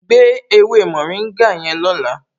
Gbé ewé mórìngà yẹn lọ́la